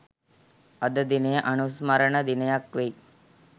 අද දිනය අනුස්මරණ දිනයක් වෙයි.